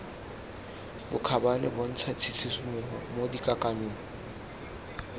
bokgabane bontsha tshisimogo mo dikakanyong